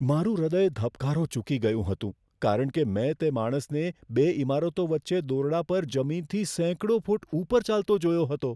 મારું હૃદય ધબકારો ચૂકી ગયું હતું, કારણ કે મેં તે માણસને બે ઇમારતો વચ્ચે દોરડા પર જમીનથી સેંકડો ફૂટ ઉપર ચાલતો જોયો હતો.